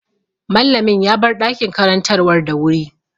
Mallamin ya bar ɗakin karantarwa da wuri.